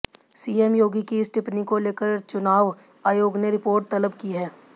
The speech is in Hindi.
सीएम योगी की इस टिप्पणी को लेकर लेकर चुनाव आयोग ने रिपोर्ट तलब की है